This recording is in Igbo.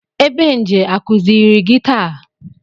Ebenje akụziiri gị taa?